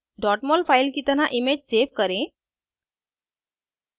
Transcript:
* mol file की तरह image save करें